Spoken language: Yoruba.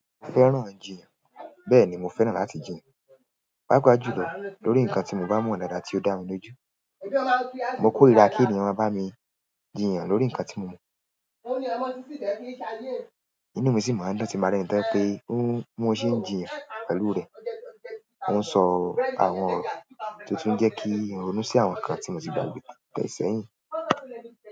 Mo fẹ́ràn ijiyan, bẹ́ẹ̀ni mo fẹ́ràn láti jiyan paapa jùlọ lórí nǹkan tí mo bá mọ̀ daada tí ó dá mi lójú. Mo kórira kí ènìyàn máa bá mi jìyàn lórí nǹkan tí mo mọ̀, inú mi sì máa ń dùn tin ba rẹni tó je pe oun, bi mo ṣẹ ń jìyàn pẹ̀lú rẹ̀. Ó ń sọ àwọn ọ̀rọ̀ to tun jẹ́ kí ń ronú sí àwọn nǹkan tí mo ti gbàgbẹ́ nípa e ṣẹ́yìn.